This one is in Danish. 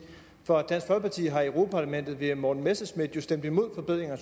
for dansk folkeparti har i europa parlamentet via morten messerschmidt jo stemt imod forbedringer